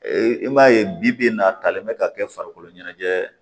Ee i b'a ye bibi in na a talen bɛ ka kɛ farikolo ɲɛnajɛ